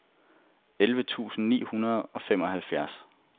elleve tusind ni hundrede og femoghalvfjerds